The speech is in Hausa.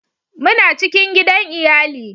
muna cikin gidan iyali